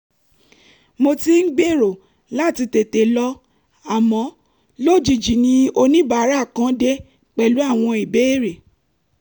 mo ti ń gbèrò láti tètè lọ àmọ́ lójijì ni oníbàárà kan dé pẹ̀lú àwọn ìbéèrè